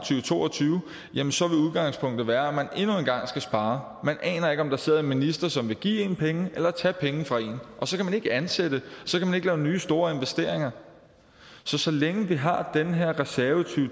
to og tyve så vil udgangspunktet være at man endnu en gang skal spare man aner ikke om der sidder en minister som vil give en penge eller tage penge fra en og så kan man ikke ansætte så kan man ikke lave nye store investeringer så så længe vi har den her reserve i